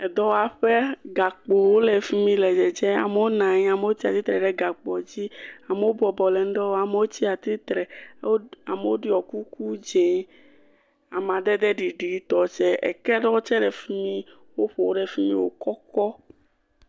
Edɔwaƒe. Gakpowo le fi mi le dzedze. Amewo nɔ anyi, amewo tsatsitre ɖe gakpo dzi, amewo bɔbɔ le nuɖe wɔm, amewo tsatsitre, amewo ɖɔ kuku dze amadede ɖiɖitɔ tsɛ. Eke ɖewo tsɛ le fi mi woƒo ɖe fi mi wòkɔkɔ.